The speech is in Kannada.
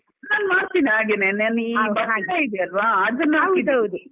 ನಾನ್ ಮಾಡ್ತೀನಿ ಹಾಗೆನೇ ನಾನ್ ಈ